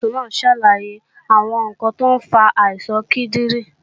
Nọ́ọ̀sì náà ń ṣàlàyé àwọn ǹkan tó ń fa àìsàn kíndìnrín